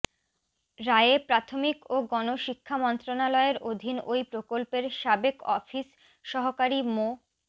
রায়ে প্রাথমিক ও গণশিক্ষা মন্ত্রণালয়ের অধীন ওই প্রকল্পের সাবেক অফিস সহকারী মো